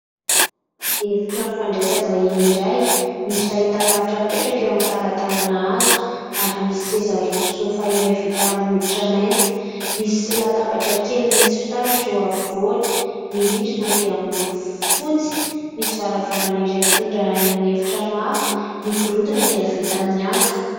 Efitrano fandraisam-bahiny iray misy fahitalavitra mipetraka eo amin'ny talatalana hazo. Ary misy seza roa soafa iray vita amin'ny hoditra mainty ,misy latabatra kely misy firaratra eo afovoany. Ny rindrina dia miloko fotsy, misy varavarana iray mitondra any amin'ny efitrano hafa ary ny gorodona dia vita amin'ny hazo.